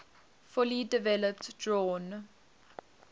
fully developed drawn